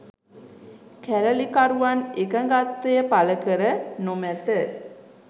කැරලිකරුවන් එකඟත්වය පළ කර නොමැත